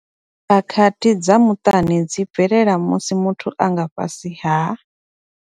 Khakhathi dza muṱani dzi bvelela musi muthu a nga fhasi ha.